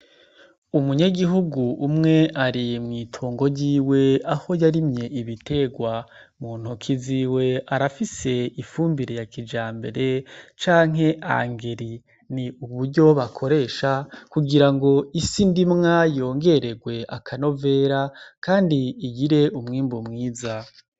Umunyegihugu umwe ari mw'itongo ryiwe aho yarimye ibiterwa mu ntoki ziwe arafise ifumbire ya kija mbere canke angeli ni uburyo bakoresha kugira ngo isi ndimwa yongererwe akanovera, kandi igire umwimbuwe umwiza.